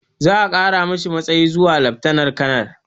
Za a ƙara masa matsayi zuwa laftanal kanal